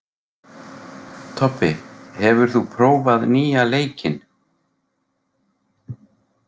Tobbi, hefur þú prófað nýja leikinn?